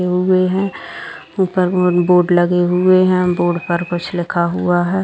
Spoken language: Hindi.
लगे हुए है ऊपर बोर्ड लगे हुए है बोर्ड पर कुछ लिखा हुआ है।